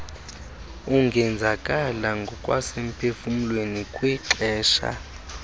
ungenzakala ngokwasemphefumlweni kwixesha